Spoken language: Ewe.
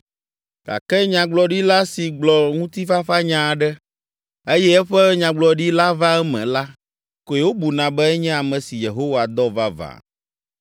Gake nyagblɔɖila si gblɔ ŋutifafanya aɖe, eye eƒe nyagblɔɖi la va eme la koe wobuna be enye ame si Yehowa dɔ vavã.”